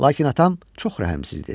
Lakin atam çox rəhmsizdi.